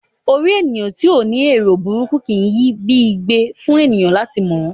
Orí ènìyàn tí o ní ero búburú kìí yi bi igbẹ fún ènìyàn lati mọ ọ.